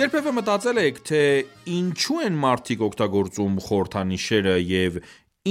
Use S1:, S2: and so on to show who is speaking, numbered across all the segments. S1: Երբևէ մտածե՞լ եք, թե ի՞նչու են մարդիկ օգտագործում խորհրդանիշերը և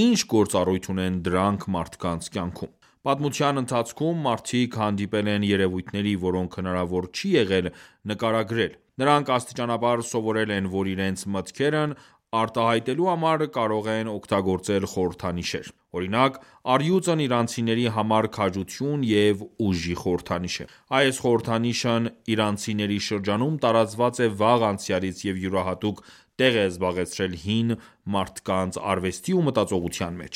S1: ի՞նչ գործառույթ ունեն դրանք մարդկանց կյանքում։ Պատմության ընթացքում մարդիկ հանդիպել են երևույթների, որոնք հնարավոր չի եղել նկարագրել։ Նրանք աստիճանաբար սովորել են, որ իրենց մտքերն արտահայտելու համար կարող են օգտագործել խորհրդանիշեր: Օրինակ՝ առյուծն իրանցիների համար քաջություն և ուժի խորհրդանիշն է։ Այս խորհրդանիշն իրանցիների շրջանում տարածված է վաղ անցյալից և յուրահատուկ տեղ է զբաղեցրել հին մարդկանց արվեստի ու մտածողության մեջ: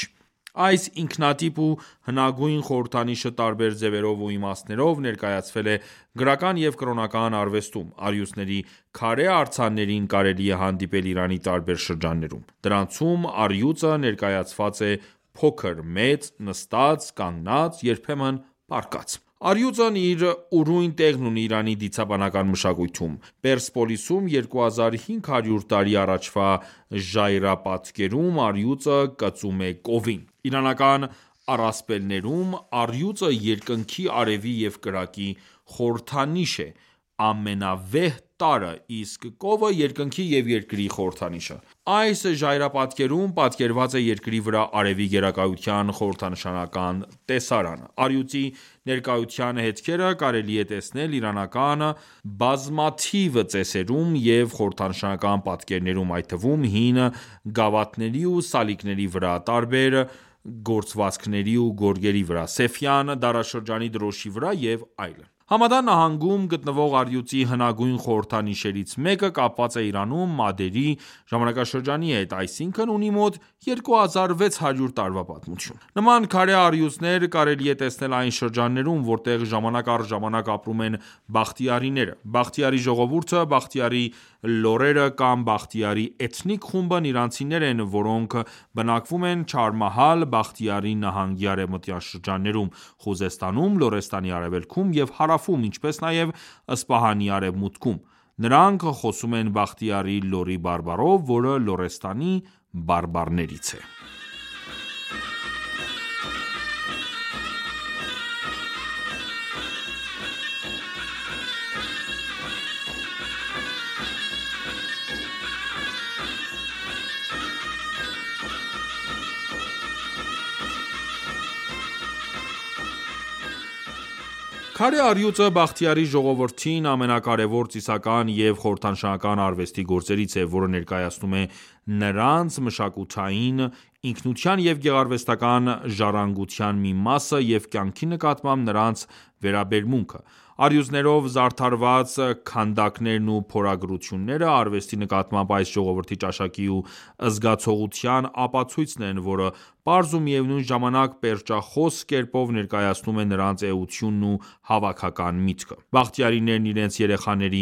S1: Այս ինքնատիպ ու հնագույն խորհրդանիշը տարբեր ձևերով ու իմաստներով ներկայացվել է գրական և կրոնական արվեստում։ Առյուծների քարե արձաններին կարելի է հանդիպել Իրանի տարբեր շրջաններում։ Դրանցում առյուծը ներկայացված է փոքր, մեծ, նստած, կանգնած, երբեմն՝ պառկած: Առյուծն իր ուրույն տեղն ունի Իրանի դիցաբանական մշակույթում։ Պերսեպոլիսում 2500 տարի առաջվա ժայռապատկերում առյուծը կծում է կովին։ Իրանական առասպելներում առյուծը երկնքի, արևի և կրակի խորհրդանիշն է՝ ամենավեհ տարրը, իսկ կովը՝ երկնքի և երկրի խորհրդանիշը։ Այս ժայռապատկերում պատկերված է երկրի վրա արևի գերակայության խորհրդանշական տեսարանը։ Առյուծի ներկայության հետքերը կարելի է տեսնել իրանական բազմաթիվ ծեսերում և խորհրդանշական պատկերներում, այդ թվում՝ հին գավաթների ու սալիկների վրա, տարբեր գործվածքների ու գորգերի վրա, Սեֆյան դարաշրջանի դրոշի վրա և այլն: Համադան նահանգում գտնովղ առյուծի հնագույն խորհրդանիշերից մեկը կապված է Իրանում մադերի ժամանակաշրջանի հետ, այսինքն՝ ունի մոտ 2600 տարվա պատմություն։ Նման քարե առյուծներ կարելի է տեսնել այն շրջաններում, որտեղ ժամանակ առ ժամանակ ապրում են բախտիարիները: Բախտիարի ժողովուրդը, բախտիարի լոռերը կամ բախտիարի էթնիկ խումբն իրանցիներ են, որոնք բնակվում են Չհարմահալ Բախտիարի նահանգի արևմտյան շրջաններում, Խուզեստանում, Լոռեստանի արևելքում և հարավում, ինչպես նաև Սպահանի արևմուտքում: Նրանք խոսում են բախտիարիի լոռի բարբառով, որը Լոռեստանի բարբառներից է։ Քարե առյուծների նշանակությունը Բախտիարի էթնիկ խմբի համար Քարե առյուծը Բախտիարի ժողովրդի ամենակարևոր ծիսական և խորհրդանշական արվեստի գործերից է, որը ներկայացնում է նրանց մշակութային ինքնության և գեղարվեստական ժառանգության մի մասը և կյանքի նկատմամբ նրանց վերաբերմունքը: Առյուծներով զարդարված քանդակներն ու փորագրությունները, արվեստի նկատմամբ այս ժողովրդի ճաշակի ու զգացողության ապացույցն են, որը պարզ ու միևնույն ժամանակ պերճախոս կերպով ներկայացնում է նրանց էությունն ու հավաքական միտըք։ Բախտիարներն իրենց երեխաների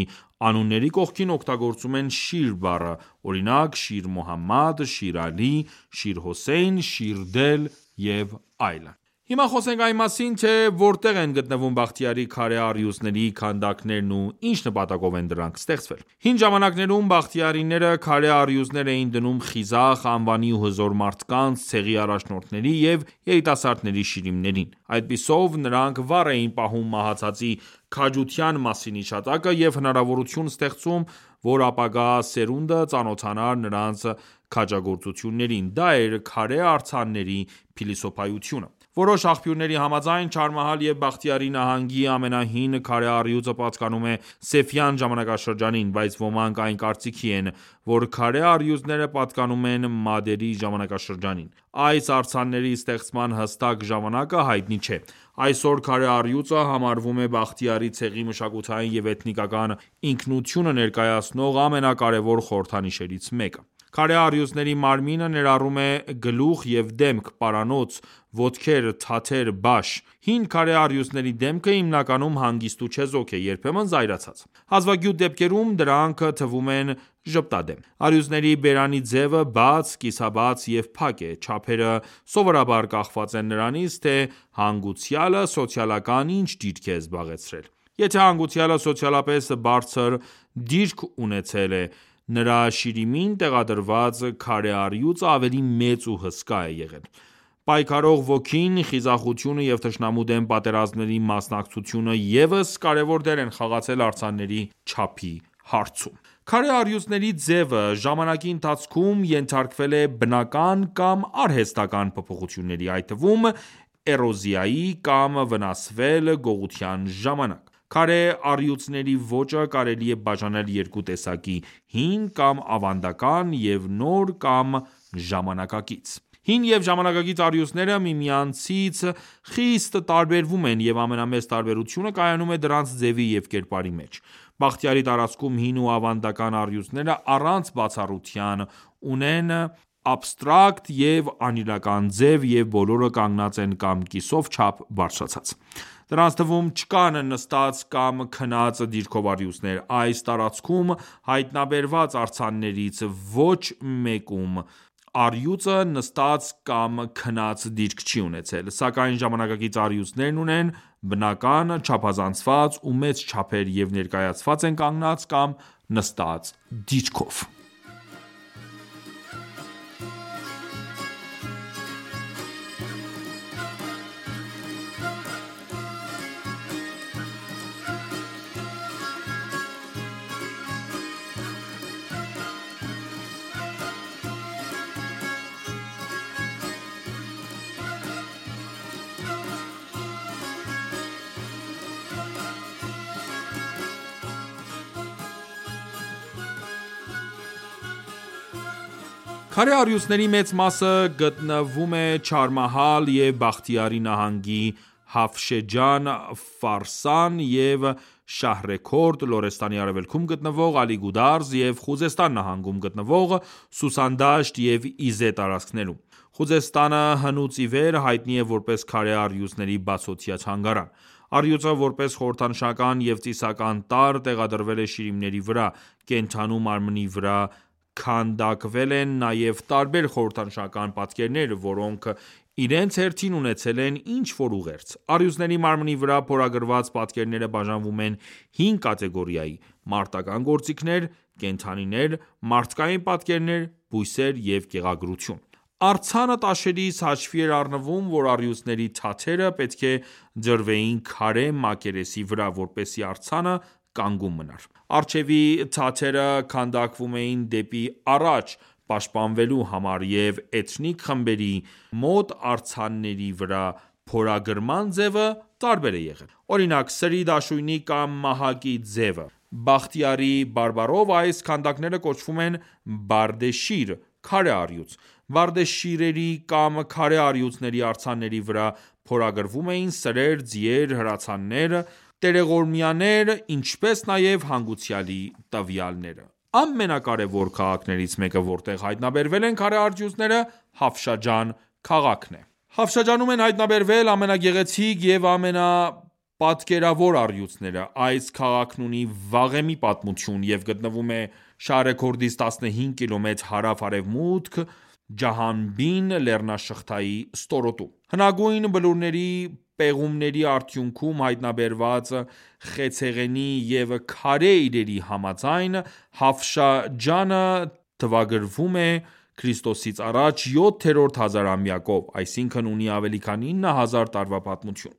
S1: անունների կողքին օգտագործում են Շիր բառը։ Օրինակ՝ Շիր Մոհամմադ, Շիր Ալի, Շիր Հոսեյն, Շիրդել և այլն։ Հիմա խոսենք այն մասին, թե որտե՞ղ են գտնվում Բախտիարիի քարե առյուծների քանդակներն ու ի՞նչ նպատակով են դրանք ստեղծվել։ Հին ժամանակներում բախտիարիները քարե առյուծներ էին դնում խիզախ, անվանի ու հզոր մարդկանց, ցեղի առաջնորդների և երիտասասրդների շիրիմներին։ Այդպիսով նրանք վառ էին պահում մահացածի քաջության մասին հիշատակը, և հնարավորություն ստեղծում, որ ապագա սերունդը ծանոթանար նրանց քաջագործություններին։ Դա էր քարե արձանների փիլիսոփայությունը: Որոշ աղբյուրների համաձայն՝ Չահարմահալ և Բախտիարի նահանգի ամենահին քարե առյուծը պատկանում է Սեֆյան ժամանակաշրջանին, բայց ոմանք այն կարծիքի են, որ քարե առյուծները պատկանում են մադերի ժամանակաշրջանին: Այս արձանների ստեղծման հստակ ժամանակը հայտնի չէ։ Այսօր քարե առյուծը համարվում է Բախտիարի ցեղի մշակութային և էթնիկական ինքնությունը ներկայացնող ամենակարևոր խորհրդանիշներից մեկը: Քարե առյուծների մարմինը ներառում է գլուխև դեմք, պարանոց, ոտքեր, թաթեր, բաշ: Հին քարե առյուծների դեմքը հիմնականում հանգիստ ու չեզոք է, երբեմն՝ զայրացած։ Հազվագյուտ դեպքերում դրանք թվում են ժպտադեմ: Առյուծների բերանի ձևը բաց, կիսաբաց և փակ է։ Չափերը սովորաբար կախված են նրանից, թե հանգուցյալը սոցիալական ի՞նչ դիրք է զբաղեցրել: Եթե հանգուցյալը սոցիալապես բարձր դրիք ունեցել, նրա շիրիմին տեղադրված քարե առյուծը ավելի մեծ ու հսկա է եղել։ Պայքարող ոգին, խիզախությունը և թշնամու դեմ պատերազմներին մասնակցությունը ևս կարևոր դեր են խաղացել արձանների չափի հարցում։ Քարե առյուծների ձևը, ժամանակի ընթացքում ենթարկվել է բնական կամ արհեստական փոփոխությունների, այդ թվում՝ էրոզիայի, կամ վնասվել գողության ժամանակ։ Քարե առյուծների ոճը կարելիէ բաժանել երկու տեսակի՝ հին կամ ավանդական և նոր կամ ժամանակակից։ Հին և ժամանակակից առյուծները միմյանցից խիստ տարբերվում են, և ամենամեծ տարբերությունը կայանում է դրանց ձևի և կերպարի մեջ: Բախտիարի տարածքում հին ու ավանդական առյուծները առանց բացառության ունեն աբստրակտ և անիրական ձև և բոլորը կանգնած են կամ կիսով չափ բարձրացած։ Դրանց թվում չկան նստած կամ քնած դիրքով առյուծներ։ Այս տարածքում հայտնաբերված արձաններցի ոչ մեկումա ռյուծը նստած կամ քնած դիրք չի ունեցել։ Սակայն ժամանակակից առյուծներն ունեն բնական, չափազանցված ու մեծ չափեր և ներկայացված են կանգնած կամ նստած դիրքով։ Քարե առյուծների մեծ մասը գտնվում Չահարամահալ և Բախտիարի նահանգի Հաֆշեջան, Ֆարսան և Շահրեքորդ, Լորեստանի արևելքում գտնվող Ալիգուդարզ, և Խուզեստան նահանգում գտնվող Սուսան դաշտ ու Իզե տարածքներում: Խուզեստանը հնուց իվեր հայտնի է որպես քարե առյուծների բացօթյա թանգարան։ Առյուծը, որպես խորհրդանշական և ծիսական տարր, տեղադրվել է շիրիմների վրա։ Կենդանու մարմնի վրա քանդակվել են նաև տարբեր խորհրդանշական պատկերներ, որոնք իրենց հերթին ունեցել են ինչ որ ուղերձ։ Առյուծների մարմնի վրա փորագրված պատկերները բաժանվում են հինգ կատեգորիայի՝ մարտական գործիքներ, կենդանիներ, մարդկային պատկերներ, բույսեր և գեղագրություն։ Արձանը տաշելիս հաշվի էր առնվում, որ առյուծների թաթերը պետք է դրվեին քարե մակերեսի վրա, որպեսզի արձանը կանգուն մնար։ Առջևի թաթերը քանդակվում էինդ եպի առաջ, պաշտպանվելու համար։ Էթնիկ տարբեր խմբերի մոտ արձանների վրա փորագրման ձևը տարբեր է եղել։ Օրինակ՝ սրի, դաշույնի կամ մահակի ձևը: Բախտիարիի բարբառով այս քանդակները կոչվում են «բարդե շիր» (քարե առյուծ): «Բարդե շիր»-երի կամ քարե առյուծների արձանների վրա փորագրվում էին սրեր, ձիեր, հրացաններ, տերողորմյաներ, ինչպես նաև հանգուցյալի տվյալները։ Ամենակարևոր քաղաքներից մեկը, որտեղ հայտնաբերվել են քարե առյուծները, Հաֆշաջան քաղաքն է։ Հաֆշաջանում են հայտնաբերվել ամենագեղեցիկ և ամենապատկերավոր առյուծները: Այս քաղաքն ունի վաղեմի պատմություն, և գտնվում է Շահրեքորդից 15 կիլոմետր հարավ-արևմուտք, Ջահանբին լեռնաշղթայի ստորոտում։ Հնագույն բլուրների պեղումների արդյունքում հայտնաբերված խեցեղենի և քարե իրերի համաձայն՝ Հաֆշաջանը թվագրվում է ք․ա. 7-րդ հազարամյակով, այսինքն՝ ունի ավելի քան 9 հազար տարվա պատմություն: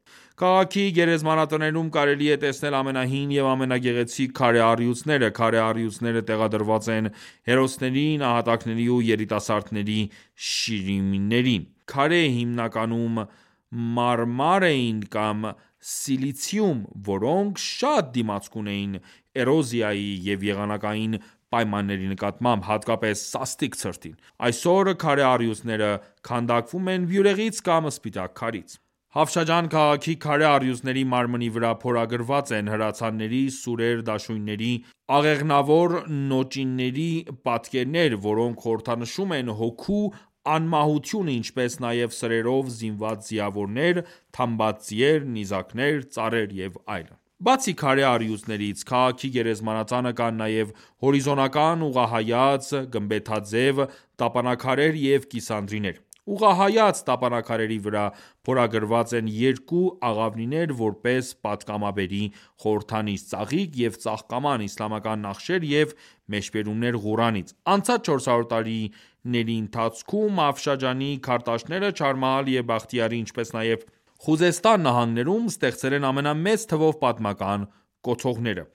S1: Քաղաքի գերեզմանատներում կարելի է տեսնել ամենահին և ամենագեղեցիկ քարե առյուծները։ Քարե առյուծները տեղադրված են՝ հերոսների, նահատակների ու երիտասարդների շիրիմներին։ Քարերը հիմնականում մարմար էին կամ սիլիցիում, որոնք շատ դիմացկուն էին էրոզիայի և եղանակային պայմանների նկատմամբ, հատկապես սաստիկ ցրտին։ Այսօր քարե առյուծները քանդակվում են բյուրեղից կամ սպիտակ քարից։ Հաֆաշջան քաղաքի քարե առյուծների մարմնի վրա փորագրված են հրացանների, սուրեր, դաշույնների, աղեղնավոր նոճիների պատկերներ, որոնք խորհրդանշում են հոգու անմահությունը, ինչպես նաև սրերով զինված ձիավորներ, թամբած ձիեր, նիզակներ, ծառեր և այլն: Բացի քարե առյուծներից, քաղաքի գերեզմանատանը կան նաև հորիզոնական, ուղղահայաց, գմբեթաձև տապանաքարեր և կիսանդրիներ: Ուղղահայաց տապանաքարերի վրա փորագրված են երկու աղավնիներ, որպես պատգամաբերի խորհրդանիշ, ծաղիկ և ծաղկաման, իսլամական նախշեր և մեջբերումներ Ղուրանից: Անցած 400 տարիների ընթացքում Հաֆշաջանի քարտաշները Չահարմահալ և Բախտիարի, ինչպես նաև Խուզեստան նահանգներում ստեղծել են ամենամեծ թվով պատմական կոթողները